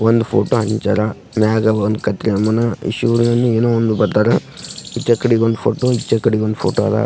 ಒಂದ್ ಫೋಟೋ ಹಂಚ್ಯಾರ ಮ್ಯಾಗೆ ಒಂದ್ ಏನೋ ಒಂದ್ ಬತ್ತದ ಈಚೆಕಡೆಗೊಂದ್ ಫೋಟೋ ಈಚೆಕಡೆಗೊಂದ್ ಫೋಟೋ ಅದ .